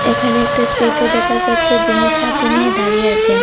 এখানে একটা স্ট্যেচু দেখা যাচ্ছে যিনি ছাতি নিয়ে দাঁড়িয়ে আছেন।